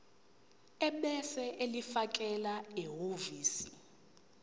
ebese ulifakela ehhovisi